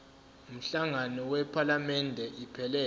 umhlangano wephalamende iphelele